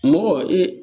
Mɔgɔ ee